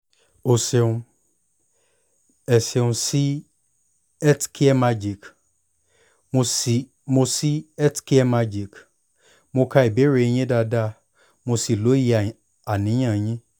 o ṣeun!ẹ ṣeun si healthcaremagic!mo si healthcaremagic!mo ka ìbéèrè yín dáadáa mo sì lóye àníyàn yín